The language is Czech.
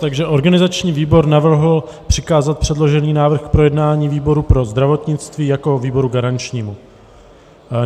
Takže organizační výbor navrhl přikázat předložený návrh k projednání výboru pro zdravotnictví jako výboru garančnímu.